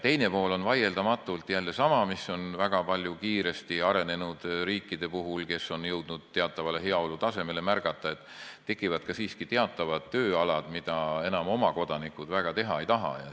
Teine pool on vaieldamatult jälle sama, mida on väga palju märgata kiiresti arenenud riikide puhul, kes on jõudnud teatavale heaolutasemele, et tekivad siiski teatavad tööd, mida oma kodanikud enam väga teha ei taha.